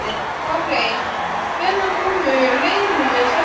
Lárey, hvenær kemur leið númer sextán?